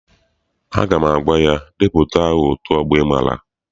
Aga m agwa ya, depụta aha otu ọgbọ ị maara!